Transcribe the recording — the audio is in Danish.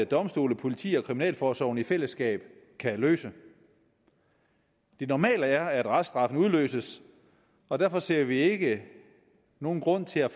domstole politi og kriminalforsorg i fællesskab kan løse det normale er at reststraffen udløses og derfor ser vi ikke nogen grund til at